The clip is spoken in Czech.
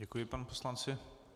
Děkuji panu poslanci.